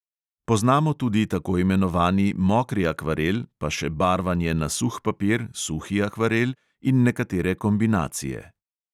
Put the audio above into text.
Poznamo tudi tako imenovani mokri akvarel, pa še barvanje na suh papir – suhi akvarel in nekatere kombinacije.